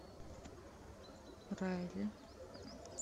райли